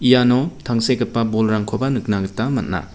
iano tangsekgipa bolrangkoba nikna gita man·a.